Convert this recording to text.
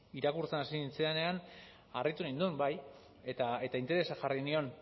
irakurtzen hasi nintzenean harritu ninduen bai eta interesa jarri nion